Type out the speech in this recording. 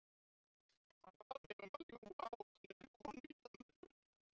Hann bað mig um að ljúga að ókunnugri konu í Danmörku.